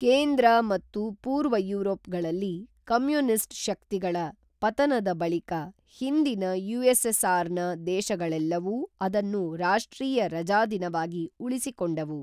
ಕೇಂದ್ರ ಮತ್ತು ಪೂರ್ವ ಯೂರೋಪ್ಗಳಲ್ಲಿ ಕಮ್ಯೂನಿಸ್ಟ್ ಶಕ್ತಿಗಳ ಪತನದ ಬಳಿಕ ಹಿಂದಿನ ಯುಎಸ್ಎಸ್ಆರ್ ನ ದೇಶಗಳೆಲ್ಲವೂ ಅದನ್ನು ರಾಷ್ಟ್ರೀಯ ರಜಾದಿನವಾಗಿ ಉಳಿಸಿಕೊಂಡವು